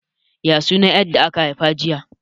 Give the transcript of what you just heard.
Ya sunan 'yar da aka haifa jiya?